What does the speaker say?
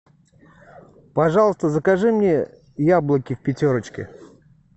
пожалуйста закажи мне яблоки в пятерочке